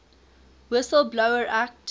whistle blower act